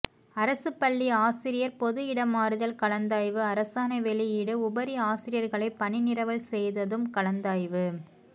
அரசு பள்ளி ஆசிரியர் பொது இடமாறுதல் கலந்தாய்வு அரசாணை வெளியீடு உபரி ஆசிரியர்களை பணிநிரவல் செய்ததும் கலந்தாய்வு